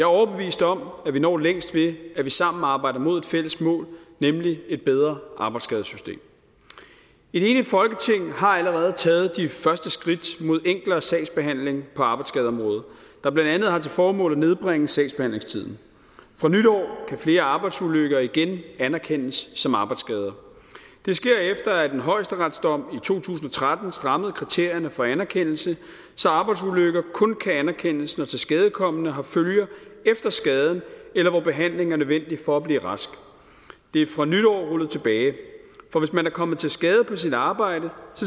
overbevist om at vi når længst ved at vi sammen arbejder mod et fælles mål nemlig et bedre arbejdsskadesystem et enigt folketing har allerede taget de første skridt mod enklere sagsbehandling på arbejdsskadeområdet der blandt andet har til formål at nedbringe sagsbehandlingstiden fra nytår kan flere arbejdsulykker igen anerkendes som arbejdsskader det sker efter at en højesteretsdom der to tusind og tretten strammede kriterierne for anerkendelse så arbejdsulykker kun kan anerkendes når tilskadekomne har følger efter skaden eller hvor behandling er nødvendig for at blive rask fra nytår bliver rullet tilbage for hvis man er kommet til skade på sit arbejde